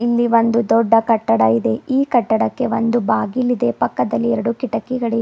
ಇಲ್ಲಿ ಒಂದು ದೊಡ್ಡ ಕಟ್ಟಡ ಇದೆ ಈ ಕಟ್ಟಡಕ್ಕೆ ಒಂದು ಬಾಗಿಲ ಇದೆ ಪಕ್ಕದಲ್ಲಿ ಎರಡು ಕಿಟಕಿಗಳಿವೆ.